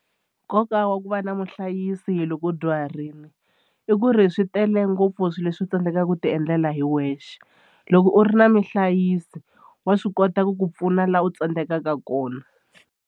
Nkoka wa ku va na muhlayisi loko u dyuharile i ku ri swi tele ngopfu swilo leswi u tsandzekaka ku tiendlela hi wexe loko u ri na muhlayisi wa swi kota ku ku pfuna laha u tsandzekaka kona.